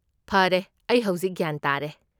ꯐꯔꯦ, ꯑꯩ ꯍꯧꯖꯤꯛ ꯒ꯭ꯌꯥꯟ ꯇꯥꯔꯦ꯫